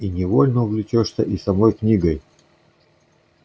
и невольно увлечёшься и самой книгой